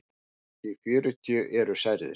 Hátt í fjörutíu eru særðir